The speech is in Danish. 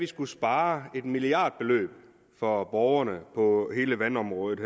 skulle spare et milliardbeløb for borgerne på hele vandområdet